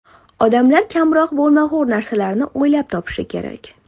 Odamlar kamroq bo‘lmag‘ur narsalarni o‘ylab topishi kerak.